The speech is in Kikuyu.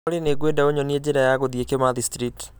Olly, nĩ ngwenda ũnyonie njĩra ya gũthiĩ Kimathi Street